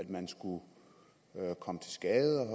man skulle komme til skade